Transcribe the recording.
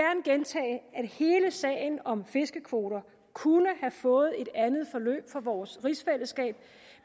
hele sagen om fiskekvoter kunne have fået et andet forløb for vores rigsfællesskab